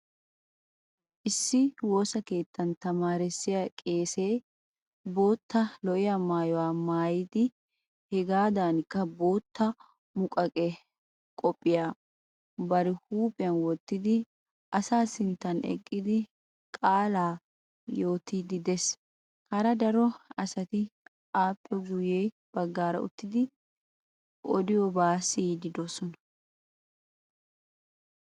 Issi woosa keettan tamaarissiya qeesee bootta lo'iya maayuwa maayidi hegaadankka bootta muqaqe koppiyiya bari huuphiyan wottidi asaa sinttan eqqidi qaalaa yiitiiddi de'ees. Hara daro asati appe guyye baggaara uttidi i odiyobaa siyiiddi de'oosona